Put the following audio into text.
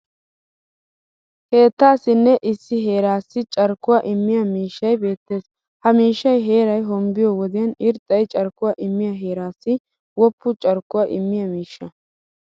Keettaassinne issi heeraassi carkkuwaa immiya miishshay beettes. Ha miishshay heeray hombbiyo wodiyan irxxay carkkuwa immiyaa heeraassi woppu carkkuwa immiya miishsha.